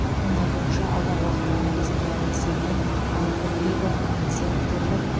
оның айтуынша алдағы уақытта инвесторлар есебінен алты мега он зияткерлік